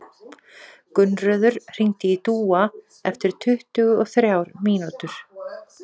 Gunnröður, hringdu í Dúa eftir tuttugu og þrjár mínútur.